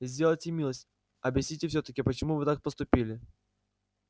сделайте милость объясните всё-таки почему вы так поступили